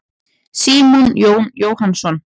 Símon Jón Jóhannsson.